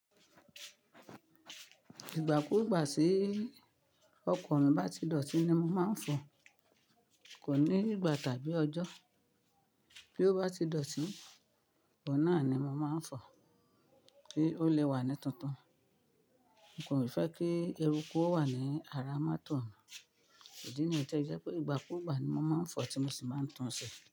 Ìgbà kú-ù gbà sí ọkọ̀ yàn bá ti dọ̀tí ni mo máa ń fọ̀ọ́, kò ní ìgbà tàbí ọjọ́. Bí ó bá ti dọ̀tí, òun náà ni mo máa ń fọ̀ọ́ kí ó lè wà ní tuntun. N kò ní fẹ́ kí eruku ó wà ní ara mátò mi. Ìdí niyi tó se jẹ́ pé ìgbà kú ìgbà ni mo máa ń fọ̀ọ́ tí mo sì máa ń tunṣe.